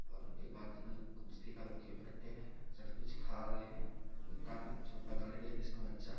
सबकुछ खा रहे हैं दुकान है छोटा गाड़ी है जिसमें बच्चा --